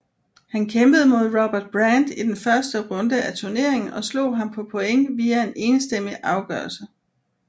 Han kæmpede mod Robert Brant i den første runde af turneringen og slog ham på point via en enstemmig afgørelse